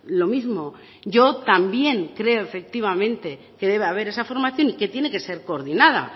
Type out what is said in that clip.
lo mismo yo también creo efectivamente que debe de haber esa formación y que tiene que ser coordinada